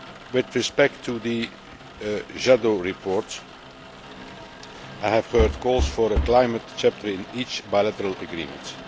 With respect to the Jadot report, I have heard calls for a climate chapter in each bilateral agreement.